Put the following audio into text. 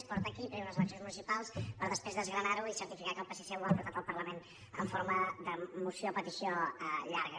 es porta aquí perquè hi ha unes eleccions municipals per després desgranar ho i certificar que el psc ho ha portat al parlament amb forma de moció o petició llarga